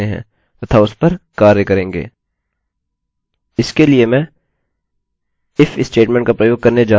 इसके लिए मैं if statement का प्रयोग करने जा रहा हूँ